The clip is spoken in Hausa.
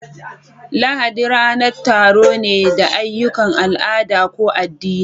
Lahadi ranar taro ne da ayyukan al'ada ko addini